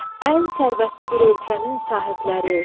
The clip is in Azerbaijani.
Ən sərvətli bir ölkənin sahibləri.